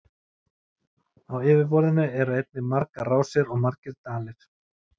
Á yfirborðinu eru einnig margar rásir og margir dalir.